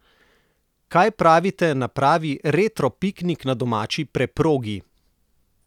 Kaj pravite na pravi retro piknik na domači preprogi?